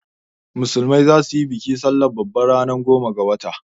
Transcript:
Musulmai zasu yi bikin sallah babba ranar goma ga watan.